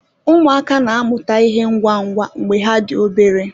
Ụmụaka na-amụta ịhe ngwa ngwa mgbe ha dị obere